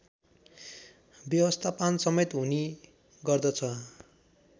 व्यवस्थापनसमेत हुने गर्दछ